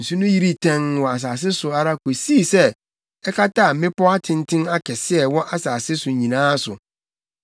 Nsu no yirii tɛnn wɔ asase so ara kosii sɛ ɛkataa mmepɔw atenten akɛse a ɛwɔ asase so nyinaa so.